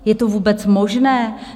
Je to vůbec možné?